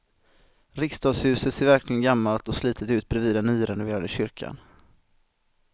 Riksdagshuset ser verkligen gammalt och slitet ut bredvid den nyrenoverade kyrkan.